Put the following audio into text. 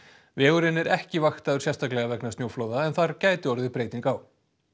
vegurinn er ekki vaktaður sérstaklega vegna snjóflóða en þar gæti orðið breyting á